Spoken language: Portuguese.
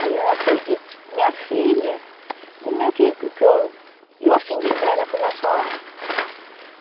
Aí ela foi e disse, minha filha, como é que, que, que eu, eu acendi vela pela sua alma.